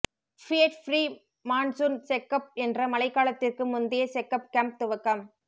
Fiat pre monsoon checkup என்ற மழைக்காலத்திற்கு முந்தைய செக்கப் கேம்ப் துவக்கம்